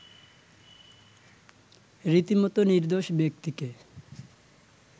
রীতিমত নির্দোষ ব্যক্তিকে